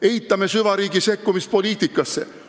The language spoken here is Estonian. Eitame süvariigi sekkumist poliitikasse.